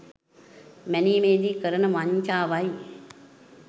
මැනීමේදී කරන වංචාවයි.